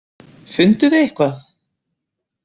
Funduð þið eitthvað?